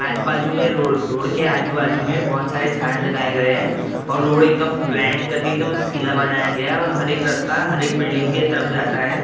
आज बाजू में रोड रोड के आजू-बाजू में बहुत सारे झाड़ लगाए गए हैं और रोड एकदम प्लान करके एकदम सीधा बनाया गया है और हर एक रास्ता हर एक बिल्डिंग के तरफ जाता है।